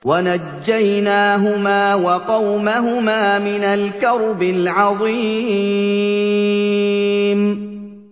وَنَجَّيْنَاهُمَا وَقَوْمَهُمَا مِنَ الْكَرْبِ الْعَظِيمِ